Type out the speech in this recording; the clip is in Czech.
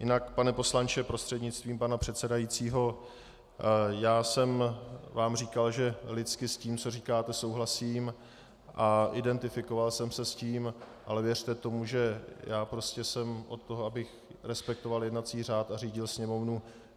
Jinak, pane poslanče prostřednictvím pana předsedajícího, já jsem vám říkal, že lidsky s tím, co říkáte, souhlasím, a identifikoval jsem se s tím, ale věřte tomu, že já prostě jsem od toho, abych respektoval jednací řád a řídil Sněmovnu.